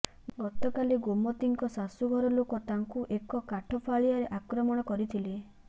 ଗତକାଲି ଗୋମତିଙ୍କ ଶାଶୂଘର ଲୋକ ତାଙ୍କୁ ଏକ କାଠ ଫାଳିଆରେ ଆକ୍ରମଣ କରିଥିଲେ